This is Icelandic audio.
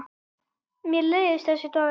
Mér leiðist þessi dagur.